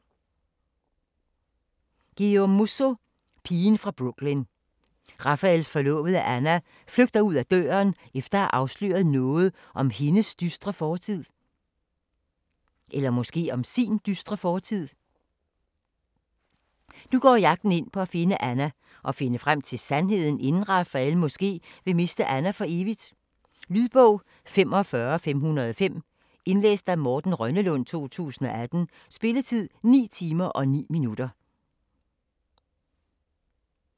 Musso, Guillaume: Pigen fra Brooklyn Raphaels forlovede Anna flygter ud af døren, efter at have afsløret noget om hendes dystre fortid. Nu går jagten ind på at finde Anna og finde frem til sandheden, inden Raphael måske vil miste Anna for evigt. Lydbog 45505 Indlæst af Morten Rønnelund, 2018. Spilletid: 9 timer, 9 minutter.